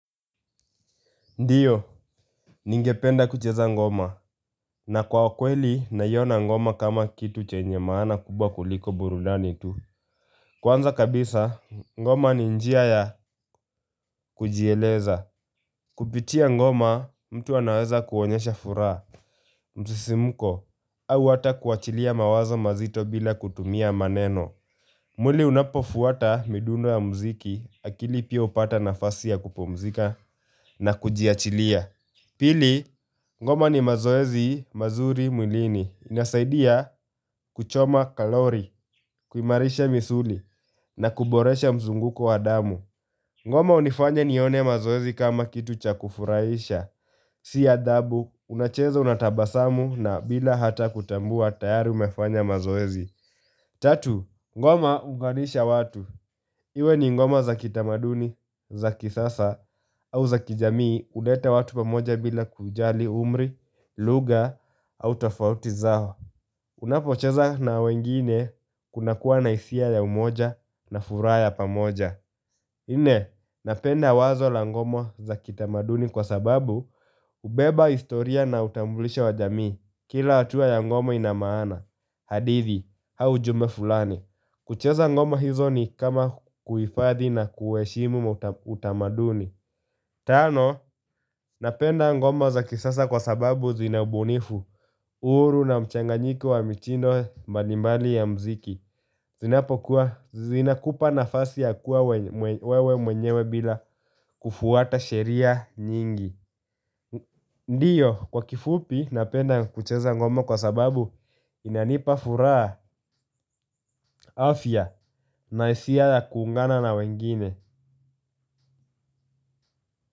Ndiyo, ningependa kucheza ngoma, na kwa kweli, naiyona ngoma kama kitu chenye maana kubwa kuliko burudani tu. Kwanza kabisa, ngoma ni njia ya kujieleza. Kupitia ngoma, mtu anaweza kuonyesha furaha. Msisimuko, au ata kuachilia mawazo mazito bila kutumia maneno. Mwili unapofuata midundo ya mziki, akili pia upata nafasi ya kupomzika na kujiachilia. Pili, ngoma ni mazoezi mazuri mwilini. Inasaidia kuchoma kalori, kuimarisha misuli na kuboresha mzunguko wa damu. Ngoma unifanya nione mazoezi kama kitu cha kufuraisha. Sia dabu, unacheza unatabasamu na bila hata kutambua tayari umefanya mazoezi. Tatu, ngoma hunganisha watu. Iwe ni ngoma za kitamaduni, za kisasa au za kijamii. Ulete watu pamoja bila kujali umri, lugha au tofauti zao. Unapocheza na wengine kuna kuwa na hisia ya umoja na furaha pamoja. Nne, napenda wazo la ngomo za kitamaduni kwa sababu ubeba historia na utambulisha wa jamii Kila watua ya ngomo inamaana hadithi, haujume fulani kucheza ngomo hizo ni kama kuifadhi na kuweshimu utamaduni Tano, napenda ngomo za kisasa kwa sababu zinabunifu uhuru na mchanganyiki wa mchindo manimali ya mziki zina kupa nafasi ya kuwa wewe mwenyewe bila kufuata sheria nyingi Ndiyo kwa kifupi napenda kucheza ngomo kwa sababu inanipa furaha afya na hisia ya kuungana na wengine.